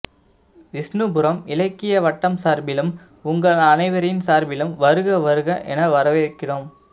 விஷ்ணுபுரம் இலக்கிய வட்டம் சார்பிலும் உங்கள் அனைவரின் சார்பிலும் வருக வருக என வரவேற்கிறோம்